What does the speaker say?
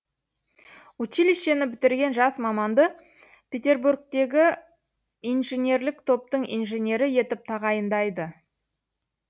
училищені бітірген жас маманды петербургтегі инжинерлік топтың инженері етіп тағайындайды